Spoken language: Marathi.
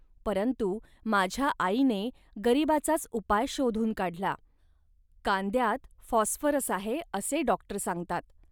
परंतु माझ्या आईने गरिबीचाच उपाय शोधून काढला. कांद्यात फॉस्फोरस आहे, असे डॉक्टर सांगतात